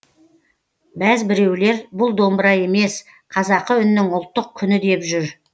бәзбіреулер бұл домбыра емес қазақы үннің ұлттық күні деп жүр